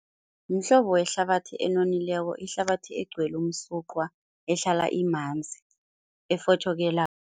Mhlobo wehlabathi enonileko, ihlabathi egcwele umsuqwa ehlala imanzi, efotjhokelako.